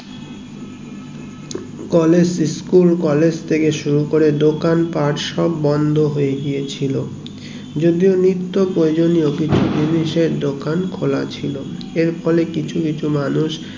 college school college থেকে শুরু করে দোকান দোকান পাট সব বন্ধ হয়ে গেছিলো যদিও নিত্ব প্রয়োজনীয় কিছু জিনিস এর দোকান খোলা ছিল এর ফলে কিছু কিছু মানুষ